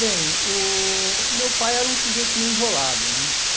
Bem, o meu pai era um sujeito meio enrolado, né?